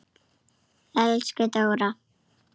Elsku Dóra.